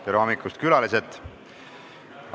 Tere hommikust, külalised!